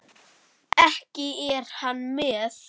Ekki er hann með?